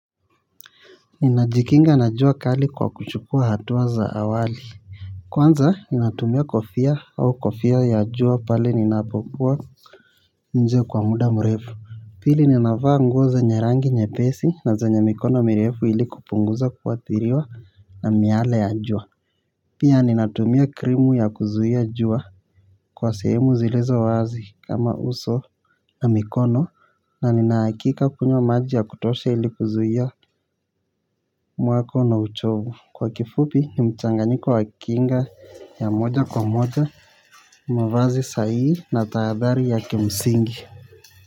Ninajikinga na jua kali kwa kuchukua hatua za awali. Kwanza ninatumia kofia au kofia ya jua pale ninapokua nje kwa muda mrefu. Pili ninavaa nguo zenye rangi nyepesi na zenya mikono mirefu ilikupunguza kuathiriwa na miaale ya jua. Pia ninatumia krimu ya kuzuhia jua kwa sehemu zilizo wazi kama uso na mikono na nina hakika kunywa maji ya kutosha ilikuzuhia mwako na uchovu. Kwa kifupi, ni mchanganyiko wa kinga ya moja kwa moja. Mavazi sai na tahadhari ya kimsingi.